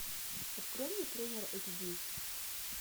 открой мне тренер эйч ди